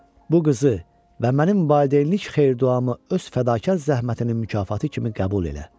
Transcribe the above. Bu qızı və mənim valideynlik xeyir-duamı öz fədakar zəhmətinin mükafatı kimi qəbul elə.